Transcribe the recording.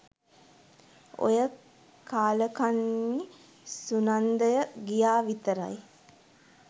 ඔය කාලකන්නි සුනන්දය ගියා විතරයි